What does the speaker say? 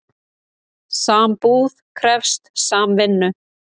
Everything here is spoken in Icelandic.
Sambúð krefst samvinnu.